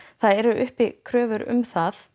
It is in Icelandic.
það eru uppi kröfur um það